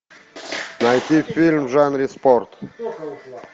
найти фильм в жанре спорт